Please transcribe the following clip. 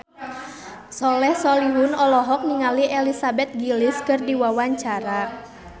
Soleh Solihun olohok ningali Elizabeth Gillies keur diwawancara